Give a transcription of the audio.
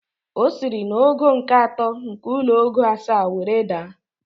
O siri n'ogo nke atọ nke ụlọ ogo asaa were daa